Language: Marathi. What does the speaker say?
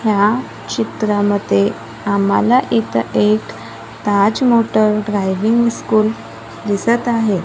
ह्या चित्रामध्ये आम्हाला इथं एक ताज मोटर ड्रायव्हिंग स्कूल दिसत आहे.